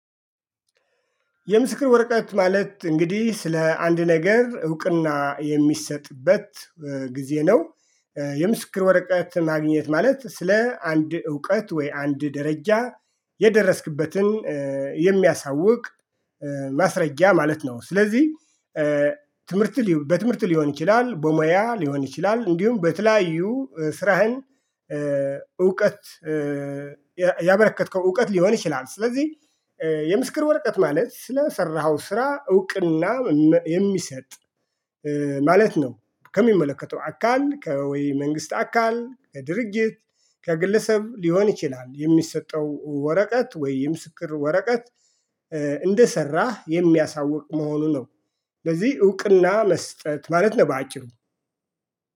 የምስክር ወረቀት ማለት እንግዲህ ስለ አንድ ነገር እውቅና የሚሰጥበት ጊዜ ነው። የምስክር ወረቀት ማግኘት ማለት ስለ አንድ እውቀት ወይ አንድ ደረጃ የደረስክበትን የሚያሳውቅ ማስረጃ ማለት ነው። ስለዚህ ትምህርት በትምህርት ሊሆን ይችላል በሙያ ሊሆን ይችላል እንዲሁም በተለያዩ ስራህን እውቀት ያበረከትከው እውቀት ሊሆን ይችላል። ስለዚህ የምስክር ወርቀት ማለት ስለሰራኸው ስራ እውቅና የሚሰጥ ማለት ነው። ከሚመለከተው አካል ከወይ መንግስት አካል ከድርጊት ከግለሰብ ሊሆን ይችላል የሚሰጠው ወረቀት ወይ የምስክር ወረቀት እንደሰራህ የሚያሳውቅ መሆኑ ነው። ስለዚህ እውቅና መስጠት ማለት ነው በአጭሩ